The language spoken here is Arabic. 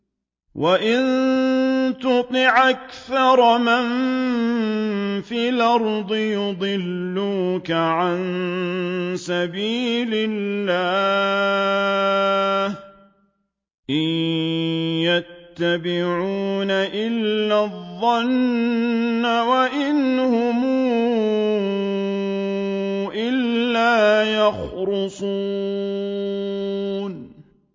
وَإِن تُطِعْ أَكْثَرَ مَن فِي الْأَرْضِ يُضِلُّوكَ عَن سَبِيلِ اللَّهِ ۚ إِن يَتَّبِعُونَ إِلَّا الظَّنَّ وَإِنْ هُمْ إِلَّا يَخْرُصُونَ